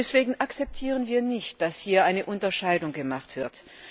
Deswegen akzeptieren wir nicht, dass hier eine Unterscheidung gemacht wird.